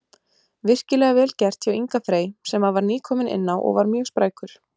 Virkilega vel gert hjá Inga Frey sem að var nýkominn inná og var mjög sprækur.